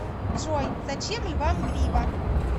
джой зачем львам грива